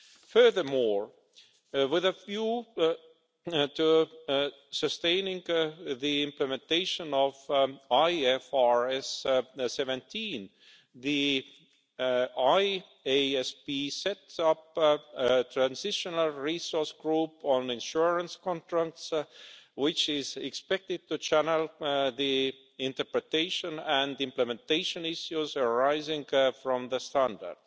Furthermore, with a view to sustaining the implementation of IFRS 17, the IASB sets up a transitional resource group on insurance contracts, which is expected to channel the interpretation and implementation issues arising from the standard.